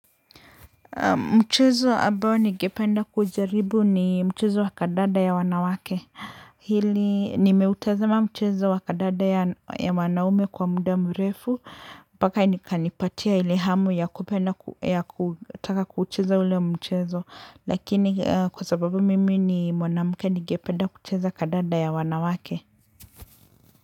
Mchezo ambao nigependa kujaribu ni mchezo wakandanda ya wanawake. Hili nimeutazama mchezo wakandanda ya wanaume kwa muda mrefu mpaka nikanipatia ile hamu ya kupenda ya kutaka kucheza ule mchezo. Lakini kwa sababu mimi ni mwanamke ningependa kucheza kandanda ya wanawake.